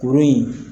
Kurun in